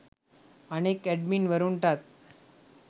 අනෙක් ඇඩ්මින් වරුන්ටත්